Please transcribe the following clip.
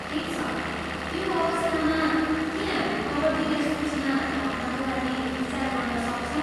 ठिक छ, त्यो अवस्थामा, के हामी कबड्डीलाई सूचीमा थप्नका लागि विचार गर्न सक्छौँ?